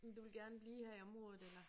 Men du ville gerne blive her i området eller